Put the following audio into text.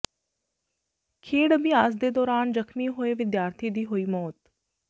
ਖੇਡ ਅਭਿਆਸ ਦੌਰਾਨ ਜ਼ਖ਼ਮੀ ਹੋਏ ਵਿਦਿਆਰਥੀ ਦੀ ਹੋਈ ਮੌਤ